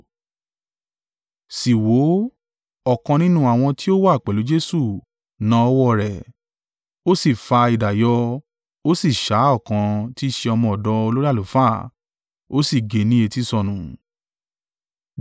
Sì wò ó, ọ̀kan nínú àwọn tí ó wà pẹ̀lú Jesu na ọwọ́ rẹ̀, ó sì fa idà yọ, ó sì sá ọ̀kan tí i ṣe ọmọ ọ̀dọ̀ olórí àlùfáà, ó sì gé e ní etí sọnù.